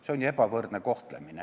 See on ju ebavõrdne kohtlemine.